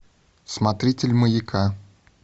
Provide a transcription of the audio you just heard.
смотритель маяка